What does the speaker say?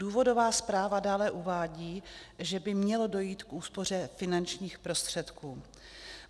Důvodová zpráva dále uvádí, že by mělo dojít k úspoře finančních prostředků.